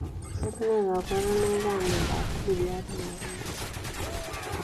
Tos nee kabarunoik ap miondoop siryat nepoo mokwek?